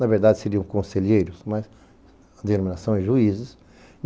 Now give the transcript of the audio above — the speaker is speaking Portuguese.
Na verdade, seriam conselheiros, mas a denominação é juízes.